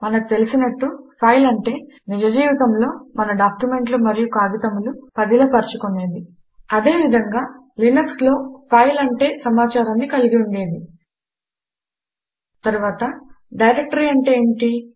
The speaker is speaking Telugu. మనకు తెలుసు ఫైల్ అంటే నిజ జీవితములో మన డాక్యుమెంట్లు మరియు కాగితములు పదిల పర్చుకొనేది అదే విధంగా Linuxలినక్స్లో ఫైల్అంటే సమాచారాన్ని కలిగిఉండేది తరువాత డైరెక్టరి అంటే ఏమిటి